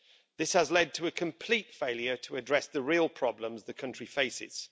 This has led to a complete failure to address the real problems the country faces.